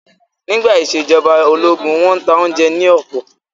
Nígbà ìṣèjọba ológun, wọ́n n ta oúnjẹ ní ọ̀pọ̀